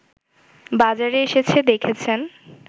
বাজারে এসেছে দেখেছেন